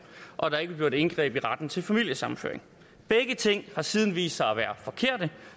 og at der ikke gjort indgreb i retten til familiesammenføring begge ting har siden vist sig at være forkerte